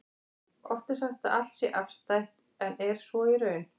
Oft er sagt að allt sé afstætt, en er svo í raun?